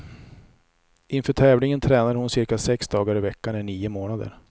Inför tävlingen tränade hon cirka sex dagar i veckan i nio månader.